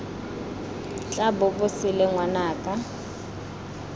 tla bo bo sele ngwanaka